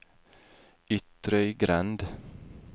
Ytrøygrend